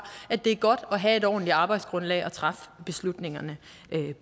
at det er godt at have et ordentligt arbejdsgrundlag at træffe beslutningerne